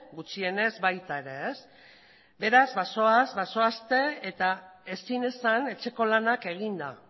gutxienez baita ere beraz bazoaz bazoazte eta ezin esan etxeko lanak eginda